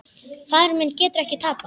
Faðir minn getur ekki tapað.